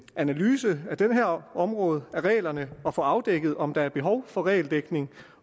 analyse af det her område af reglerne og få afdækket om der er behov for regeldækning